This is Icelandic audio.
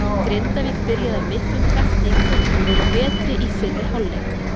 Grindavík byrjaði af miklum krafti í kvöld og voru betri í fyrri hálfleik.